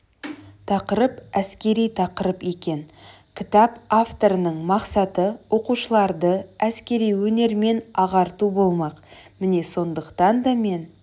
тақырып әскери тақырып екен кітап авторының мақсаты оқушыларды әскери өнермен ағарту болмақ міне сондықтан да мен